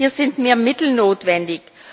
Hier sind mehr Mittel notwendig.